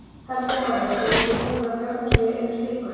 Helga María: Og eruð þið búin að fjárfesta í einu slíku?